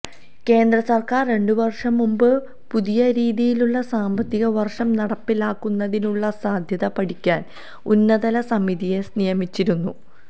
കേന്ദ്രസര്ക്കാര് രണ്ട് വര്ഷം മുമ്പ് പുതിയ രീതിയിലുള്ള സാമ്പത്തിക വര്ഷം നടപ്പിലാക്കുന്നതിനുള്ള സാധ്യത പഠിക്കാന് ഉന്നതതല സമിതിയെ നിയമിച്ചിരുന്നു